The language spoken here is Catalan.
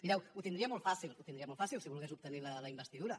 mireu ho tindria molt fàcil ho tindria molt fàcil si volgués obtenir la investidura